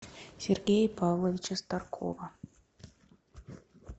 сергея павловича старкова